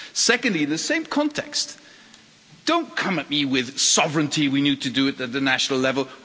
Secondly, in the same context, don't come at me with sovereignty we need to do it at the national level'.